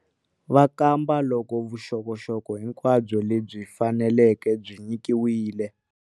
Va kamba loko vuxokoxoko hinkwabyo lebyi faneleke byi nyikiwile.